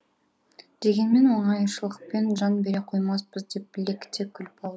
дегенмен оңайшылықпен жан бере қоймаспыз деп лекіте күліп